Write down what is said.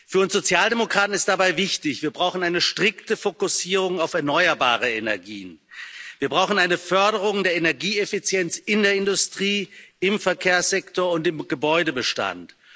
Für uns Sozialdemokraten ist dabei wichtig Wir brauchen eine strikte Fokussierung auf erneuerbare Energien, wir brauchen eine Förderung der Energieeffizienz in der Industrie, im Verkehrssektor und im Gebäudebestand.